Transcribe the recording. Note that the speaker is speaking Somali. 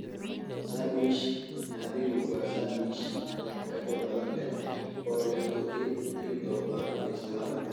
Sandwij naadigu waa sandwich lakabyo badan leh oo leh turki, hilib doofaar, iyo salaar.